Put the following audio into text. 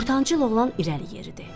Ortancıl oğlan irəli yeridi.